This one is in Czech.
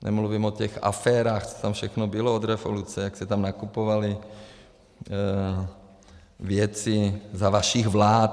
Nemluvím o těch aférách, co tam všechno bylo od revoluce, jak se tam nakupovaly věci za vašich vlád.